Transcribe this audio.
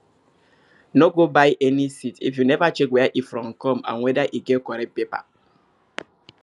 no go buy any seed if you never check where e from come and whether e get correct paper